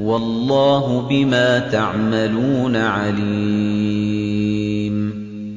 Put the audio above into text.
وَاللَّهُ بِمَا تَعْمَلُونَ عَلِيمٌ